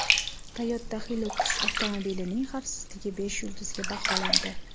Toyota Hilux avtomobilining xavfsizligi besh yulduzga baholandi .